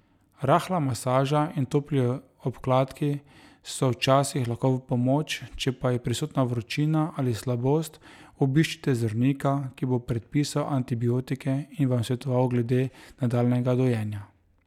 Rahla masaža in topli obkladki so včasih lahko v pomoč, če pa je prisotna vročina ali slabost, obiščite zdravnika, ki bo predpisal antibiotike in vam svetoval glede nadaljnjega dojenja.